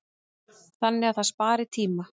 Þannig að það spari tíma.